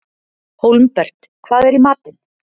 Hólmbert, hvað er í matinn?